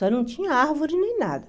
Só não tinha árvore nem nada.